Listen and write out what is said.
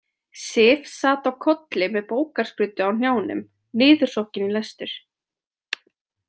Sif sat á kolli með bókarskruddu á hnjánum, niðursokkin í lestur.